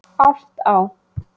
Álftá